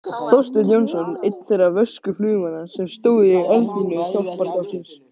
Þorsteinn Jónsson einn þeirra vösku flugmanna sem stóðu í eldlínu hjálparstarfsins.